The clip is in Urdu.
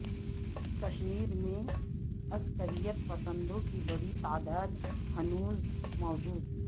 کشمیر میں عسکریت پسندوں کی بڑی تعداد ہنوز موجود